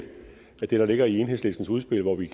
jeg det der ligger i enhedslistens udspil hvor vi